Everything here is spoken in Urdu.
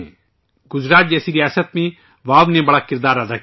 گجرات جیسی ریاست میں واؤ کا بڑا رول رہا ہے